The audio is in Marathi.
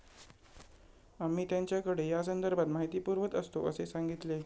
आम्ही त्यांच्याकडे या संदर्भात माहिती पुरवत असतो असे सांगितले.